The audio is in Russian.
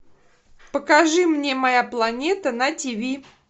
покажи мне моя планета на тв